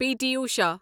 P T Usha